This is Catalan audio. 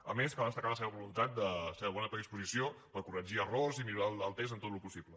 a més cal destacar la seva voluntat la seva bona predisposició per corregir errors i millorar el text en tot el possible